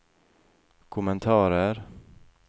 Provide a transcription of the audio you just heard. kommentarer